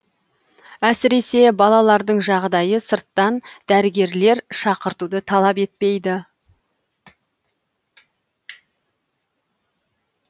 әсіресе балалардың жағдайы сырттан дәрігерлер шақыртуды талап етпейді